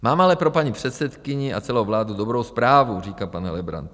Mám ale pro paní předsedkyni a celou vládu dobrou zprávu, říká pan Helebrant.